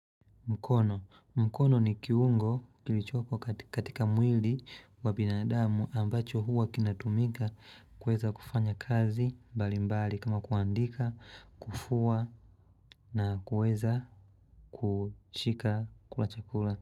Mkono. Mkono ni kiungo kilichoko katika mwili wa binadamu ambacho huwa kinatumika kuweza kufanya kazi mbalimbali kama kuandika, kufua na kuweza kushika kula chakula.